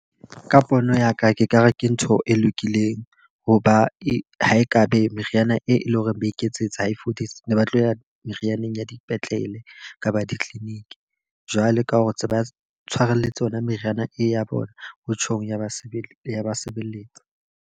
Ka pono ya ka ke ka re ke ntho e lokileng. Ho ba e ho e ka be meriana e leng hore ba iketsetse ha e fodise, ne ba tlo ya merianeng ya dipetlele kapa di-clinic. Jwalo ka hore tse ba tshwarelletse yona meriana e ya bona, ho tjhong ya basebetsi ya ba sebeletsa.